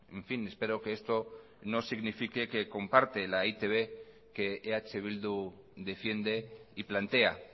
en fin espero que esto no signifique que comparte la e i te be que eh bildu defiende y plantea